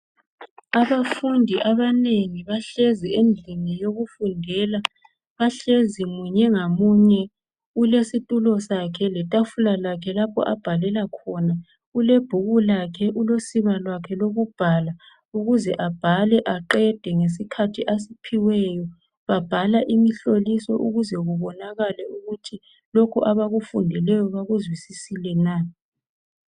Abafundi abanengi bahlezi endlini yokufundela bahlezi munye ngamunye ulesitulo letafula lakhe lapho abhalela khona. Ulebhuku lakhe, ulosiba lwakhe lokubhala ukuze abhale aqede ngesikhathi asiphiweyo. Babhala imihloliso ukuze kubonakale ukuthi lokhu abakufundileyo bakuzwisisile na